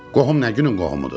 Qohum nə günün qohumudur?